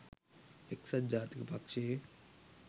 එක්සත් ජාතික පක්ෂයේ